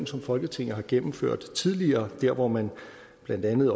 som folketinget har gennemført tidligere hvor man blandt andet